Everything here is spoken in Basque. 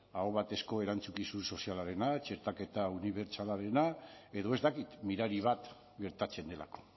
aho batezko erantzukizun sozialarena txertaketa unibertsalarena edo ez dakit mirari bat gertatzen delako